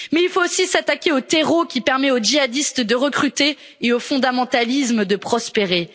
Mais il faut aussi s'attaquer au terreau qui permet aux jihadistes de recruter et au fondamentalisme de prospérer.